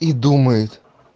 и думает